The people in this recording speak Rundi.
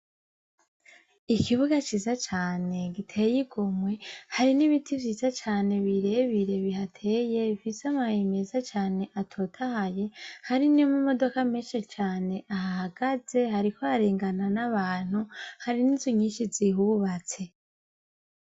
Ikibuga ciza cane giteye ingomwe, hari n'ibiti vyiza cane birebire bihateye bifise amababi meza cane atotahaye, hari n'amamodoka menshi cane ahahagaze, hariko harengana n'abantu hari n'nzu nyishi zihubatse.